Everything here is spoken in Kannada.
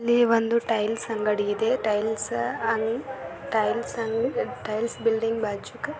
ಒಂದು ಟೈಲ್ಸ್ ಅಂಡ್ಗದಿ ಇದೆ ಟೈಲ್ಸ್ ಬಾಚು--